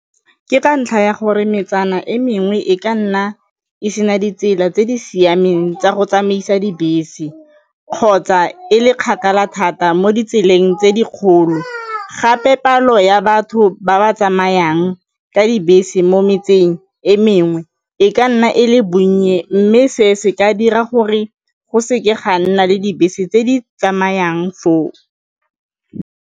Ke ka ntlha ya gore metsana e mengwe e ka nna e se na ditsela tse di siameng tsa go tsamaisa dibese kgotsa e le kgakala thata mo ditseleng tse dikgolo gape palo batho ba ba tsamayang ka dibese mo metseng e mengwe e ka nna e le bonnye mme se se ka dira gore go seke ga nna le dibese tse di tsamayang foo.